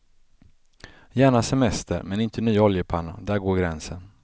Gärna semester men inte ny oljepanna, där går gränsen.